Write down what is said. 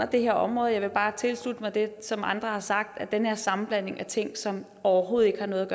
det her område jeg vil bare tilslutte mig det som andre har sagt nemlig at den her sammenblanding af ting som overhovedet ikke har noget